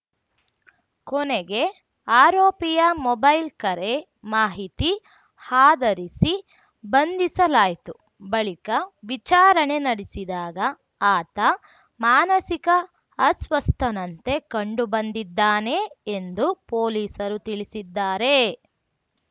ಕೊನೆಗೆ ಆರೋಪಿಯ ಮೊಬೈಲ್‌ ಕರೆ ಮಾಹಿತಿ ಆಧರಿಸಿ ಬಂಧಿಸಲಾಯಿತು ಬಳಿಕ ವಿಚಾರಣೆ ನಡೆಸಿದಾಗ ಆತ ಮಾನಸಿಕ ಅಸ್ವಸ್ಥನಂತೆ ಕಂಡು ಬಂದಿದ್ದಾನೆ ಎಂದು ಪೊಲೀಸರು ತಿಳಿಸಿದ್ದಾರೆ